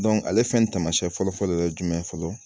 ale fɛnɛ taamasiyɛn fɔlɔfɔlɔ ye jumɛn ye fɔlɔ